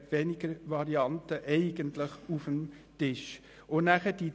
Denn eigentlich liegen inzwischen weniger Varianten auf dem Tisch.